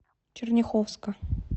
черняховска